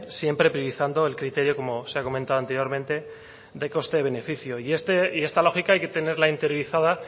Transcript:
siempre priorizando el criterio como se ha comentado anteriormente de coste beneficio y esta lógica hay que tenerla interiorizada